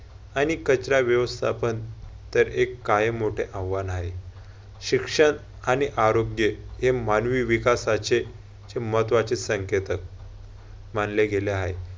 आणि कचरा व्यवस्थापन तर एक कायम मोठे आव्हान हाय. शिक्षण आणि आरोग्य हे मानवी विकासाचे महत्वाचे संकेतच मानले गेले आहेत.